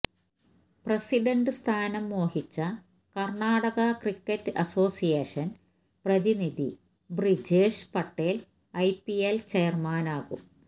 president സ്ഥാനം മോഹിച്ച Karnataka cricket association പ്രതിനിധി ബ്രിജേഷ് പട്ടേല് ഐപിഎല് ചെയര്മാനാകും